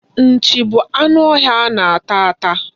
Nchi bụ anụ ọhịa a na-ata ata.